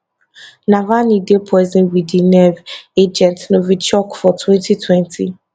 navalny dey poisoned wit di nerve agent novichok for twenty twenty